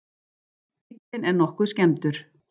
Bíllinn er nokkuð skemmdur